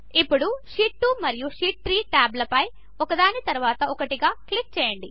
ఇప్పుడు షీట్ 2 మరియు షీట్ 3 టాబ్లపై ఒకదాని తరువాత ఒకటిగా క్లిక్ చేయండి